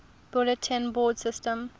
bulletin board systems